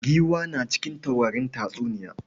Giwa na cikin taurarin tatsuniya.